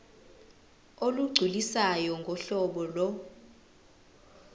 olugculisayo ngohlobo lo